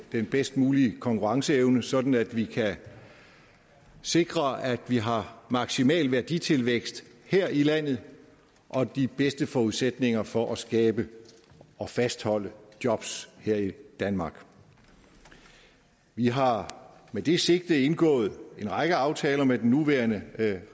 den bedst mulige konkurrenceevne sådan at vi kan sikre at vi har maksimal værditilvækst her i landet og de bedste forudsætninger for at skabe og fastholde jobs her i danmark vi har med det sigte indgået en række aftaler med den nuværende